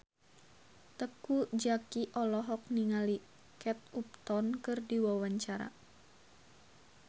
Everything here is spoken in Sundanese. Teuku Zacky olohok ningali Kate Upton keur diwawancara